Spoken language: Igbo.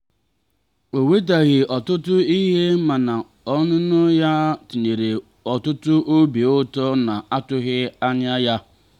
o wetaghị ọtụtụ ihe mana ọnụnọ ya tinyere ọtụtụ obi ụtọ na-atụghị anya ya.